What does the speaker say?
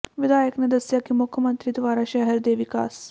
ਵਿਧਾਇਕ ਨੇ ਦੱਸਿਆ ਕਿ ਮੁੱਖਮੰਤਰੀ ਦੁਆਰਾ ਸ਼ਹਿਰ ਦੇ ਵਿਕਾਸ